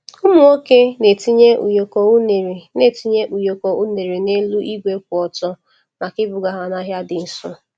Ụmụ nwoke na-etinye ụyọkọ unere na-etinye ụyọkọ unere n’elu igwe kwụ otu maka ibuga ha n’ahịa dị nso.